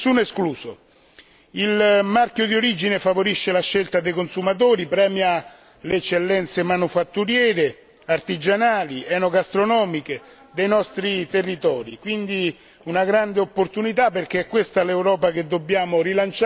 Il marchio di origine favorisce la scelta dei consumatori, premia le eccellenze manifatturiere, artigianali ed enogastronomiche dei nostri territori, ed è quindi una grande opportunità perché è questa l'Europa che dobbiamo rilanciare e valorizzare.